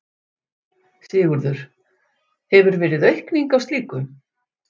Sigurður: Hefur verið aukning á slíku?